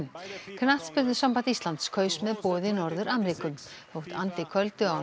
knattspyrnusamband Íslands kaus með boði Norður Ameríku þótt andi köldu